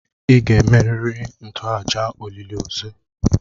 Ị ga-emerịrị ntoaja olịlị ozu!